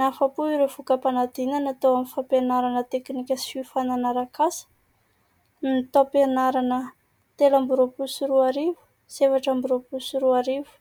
"Nahafa-po ireo vokam-panadinana" tao amin'ny fampianarana teknika sy fiofanana arak'asa ny taom-pianarana telo amby roapolo sy roa arivo sy efatra amby roapolo sy roa arivo.